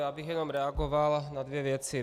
Já bych jen reagoval na dvě věci.